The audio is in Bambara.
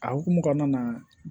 A hokumu kɔnɔna na